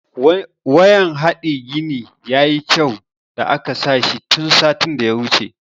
Wayan hade gini ya yi kyau da aka sa shi tun satin da ya wuce.